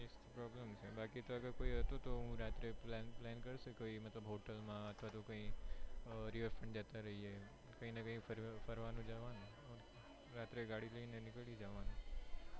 બાકી તો કોઈ હતું તો હું રાત્રે plan plan કરશે કોઈ મતલબ hotel માં અથવા તો કઈ river front જતા રહીએ કઈ ના કઈ ફરવા નું જવાનું રાત્રે ગાડી લઈને નિકળી જવાનું.